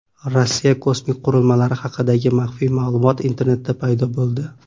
Rossiya kosmik qurilmalari haqidagi maxfiy ma’lumot internetda paydo bo‘ldi.